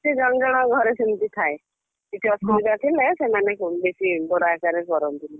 ସେ ଜଣ ଜଣ ଘରେ ସେମିତି ଥାଏ। କିଛି ଅସୁବିଧା ଥିଲେ ସେମାନେ ବେଶୀ ବଡ ଆକାରରେ କରନ୍ତିନି।